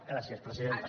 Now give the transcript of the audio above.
gràcies presidenta